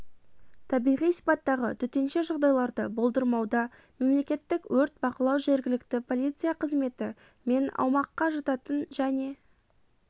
табиғи сипаттағы төтенше жағдайларды болдырмауда мемлекеттік өрт бақылау жергілікті полиция қызметі мен аумаққа жататын және